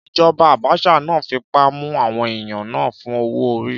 Ìjọba Abacha náà fipá mú àwọn èèyàn náà fún owó-orí.